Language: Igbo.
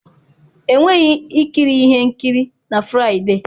Enweghị ikiri ihe nkiri na Fraịde.